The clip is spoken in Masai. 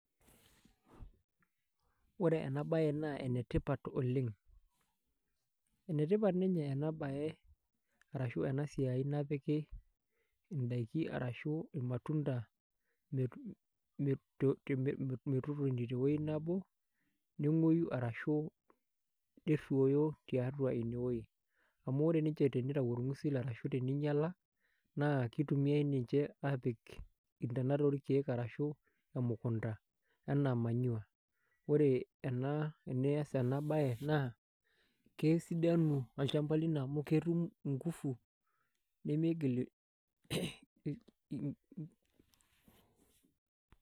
Ore enabae naa enetipat oleng, enetipat ena enabae napiki ndakini ashu irmatunda metotoni tewoi nabo nengweyu ashu nerwoyu tiatua ineweuji, amu or nye tenitau orngusil na kitumiai ninche apik ntana orkiek ashu apik emukunda anaa manure ,ore tenias enabae kesidanu olchamba lino amu ketum ingufu nimigil eee ii.